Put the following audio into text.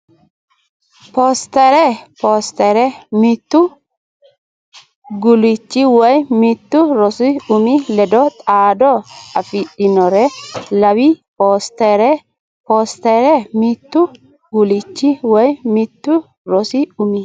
Poostere Poostere mittu guulchi woy mittu rosu umi ledo xaado afidhinore law Poostere Poostere mittu guulchi woy mittu rosu umi.